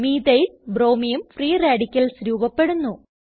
methyl ബ്രോമിയം free radicals രൂപപെടുന്നു